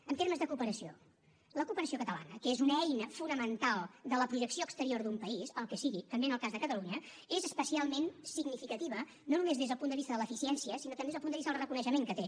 en termes de cooperació la cooperació catalana que és una eina fonamental de la projecció exterior d’un país el que sigui també en el cas de catalunya és especialment significativa no només des del punt de vista de l’eficiència sinó també des del punt de vista del reconeixement que té